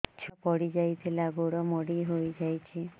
ଛୁଆ ପଡିଯାଇଥିଲା ଗୋଡ ମୋଡ଼ି ହୋଇଯାଇଛି